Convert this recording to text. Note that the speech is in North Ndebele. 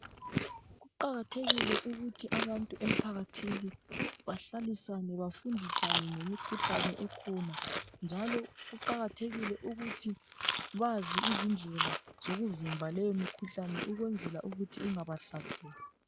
Kuqakathekile ukuthi abantu emphakathini bahlalisane bafundisane ngemikhuhlane ekhona njalo kuqakathekile ukuthi bazi izindlela zokuvimba leyo mikhuhlane ukwenzela ukuthi ingabahlaseli.